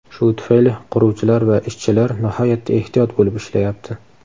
Shu tufayli quruvchilar va ishchilar nihoyatda ehtiyot bo‘lib ishlayapti.